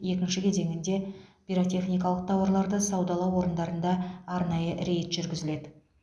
екінші кезеңінде пиротехникалық тауарларды саудалау орындарында арнайы рейд жүргізіледі